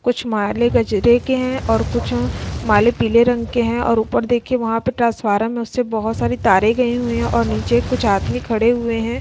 कुछ मालें गजरे के हैं और कुछ मालें पीले रंग के हैं और ऊपर देखिए वहां पे ट्रांसफारम में से बहोत सारी तारें गई हुई हैं और नीचे कुछ आदमी खड़े हुए हैं।